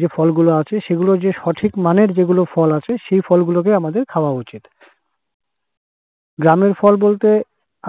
যে ফলগুলো আছে সেগুলো যে সঠিক মানের যেগুলো ফল আছে সেই ফলগুলোকে আমাদের খাওয়া উচিত। গ্রামের ফল বলতে